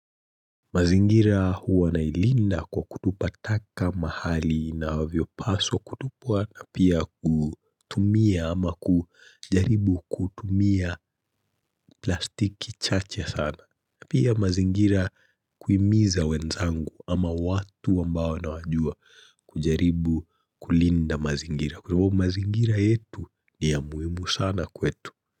Mazingira huwa nailinda kwa kutupa taka mahali inavyopaswa kutupwa na pia kutumia ama kujaribu kutumia plastiki chache sana. Pia mazingira kuimiza wenzangu ama watu ambao nawajua kujaribu kulinda mazingira. Kwa hivo mazingira yetu ni ya muhimu sana kwetu.